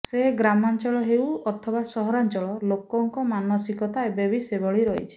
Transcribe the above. ସେ ଗ୍ରାମାଞ୍ଚଳ ହେଉ ଅଥବା ସହରାଞ୍ଚଳ ଲୋକଙ୍କ ମାନସିକତା ଏବେବି ସେଭଳି ରହିଛି